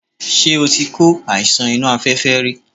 Ṣé o ti kó àìsàn inú afẹ́fẹ́ rí?